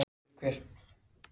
Eins og dæmi eru um.